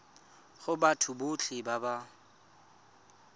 go batho botlhe ba ba